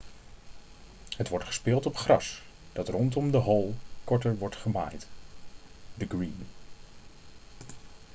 het wordt gespeeld op gras dat rondom de hole korter wordt gemaaid de green